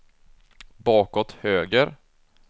bakåt höger